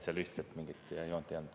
Seal mingit ühtset joont ei olnud.